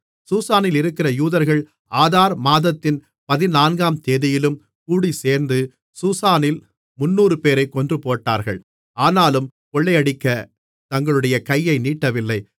சூசானில் இருக்கிற யூதர்கள் ஆதார் மாதத்தின் பதினான்காம்தேதியிலும் கூடிச்சேர்ந்து சூசானில் முந்நூறுபேரைக் கொன்றுபோட்டார்கள் ஆனாலும் கொள்ளையடிக்கத் தங்களுடைய கையை நீட்டவில்லை